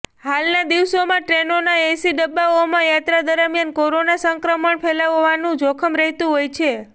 હાલના દિવસોમાં ટ્રેનોના એસી ડબ્બાઓમાં યાત્રા દરમ્યાન કોરોના સંક્રમણ ફેલાવવાનું જોખમ રહેતું હોય છે